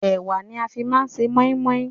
Ẹ̀wá ni a fi máa ń ṣe moin-moin